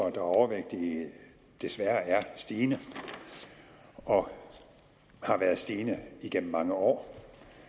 er overvægtige desværre er stigende og har været stigende igennem mange år